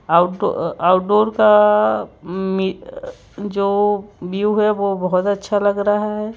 Out outdoor का जो view है वह बहुत अच्छा लग रहा है।